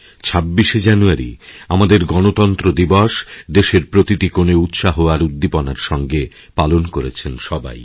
২৬শে জানুয়ারি আমাদের গণতন্ত্র দিবস দেশের প্রতিটি কোণে উৎসাহ আর উদ্দীপনারসঙ্গে পালন করেছেন সবাই